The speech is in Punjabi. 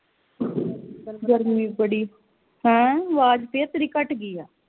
ਗਰਮੀ ਬੜੀ ਹੈ ਆਵਾਜ ਫਿਰ ਤੇਰੀ ਘੱਟ ਗਈ ਆ